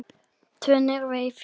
Tvö niðri í fjöru.